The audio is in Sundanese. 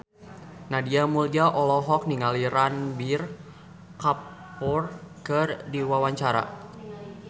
Nadia Mulya olohok ningali Ranbir Kapoor keur diwawancara